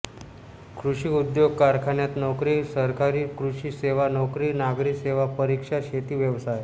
कृषी उद्योग कारखान्यात नोकरी सरकारी कृषी सेवा नोकरी नागरी सेवा परीक्षा शेती व्यवसाय